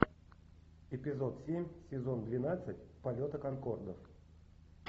эпизод семь сезон двенадцать полета конкорда